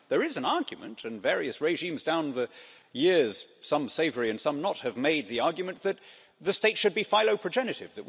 There is an argument, and various regimes down the years some savoury and some not have made the argument that the state should be philoprogenitive